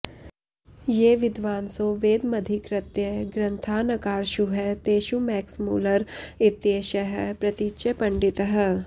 ये विद्वांसो वेदमधिकृत्य ग्रन्थान् अकार्षुः तेषु मैक्समूलर इत्येषः प्रतीच्यपण्डितः